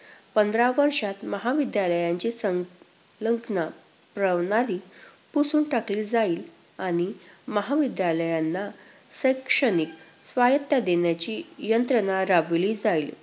पंधरा वर्षात महाविद्यालयांची सं~ योजना प्रणाली पुसून टाकली जाईल आणि महाविद्यालयांना शैक्षणिक स्वायत्ता देण्याची यंत्रणा राबविली जाईल.